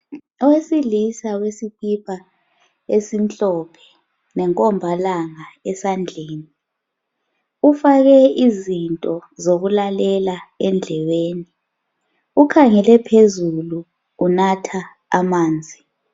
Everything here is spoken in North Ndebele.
Owesilisa wesikipa esimhlophe lenkombalanga esandleni ufake izinto zokulalela endlebeni ukhangele phezulu unatha amanzi.